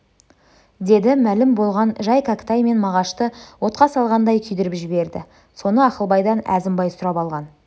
деді мәлім болған жай кәкітай мен мағашты отқа салғандай күйдіріп жіберді соны ақылбайдан әзімбай сұрап алған